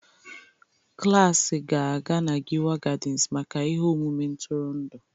Klas ga-aga na Giwa Gardens maka ihe omume ntụrụndụ